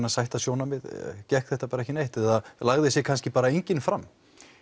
að sætta sjónarmið gekk þetta bara ekki neitt eða lagði sig kannski bara enginn fram